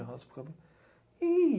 Eu raspo o cabelo. E